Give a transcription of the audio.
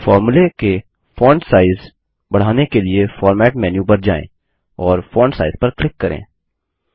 फ़ॉर्मूले के font size बढ़ाने के लिए फॉर्मेट मेनू पर जाएँ और फोंट साइज पर क्लिक करें